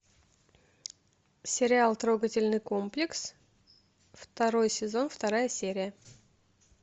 сериал трогательный комплекс второй сезон вторая серия